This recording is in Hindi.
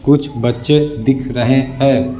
कुछ बच्चे दिख रहे हैं।